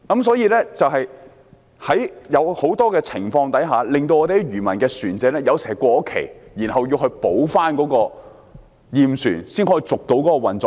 所以，在很多情況下，有時會令漁民的船隻過期，要補回驗船才能為運作牌照續期。